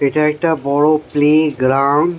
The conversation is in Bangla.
এটা একটা বড়ো প্লে গ্রাউন্ড ।